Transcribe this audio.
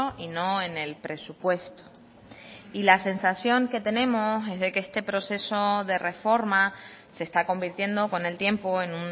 y no en el presupuesto y la sensación que tenemos es de que este proceso de reforma se está convirtiendo con el tiempo en